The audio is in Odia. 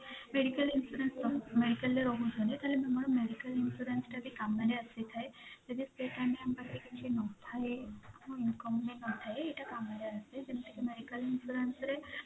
medical insurance medical ରେ ରହୁଛନ୍ତି ତାହେଲେ ଆମର medical insurance ଟା ବି କାମରେ ଆସିଥାଏ ଯଦି ଯଦି ସେ time ରେ ଆମ ପାଖରେ କିଛି ନଥାଏ କିଛି income ବି ନଥାଏ ଏଇଟା କାମରେ ଆସେ ଯେମିତି କି medical insurance ରେ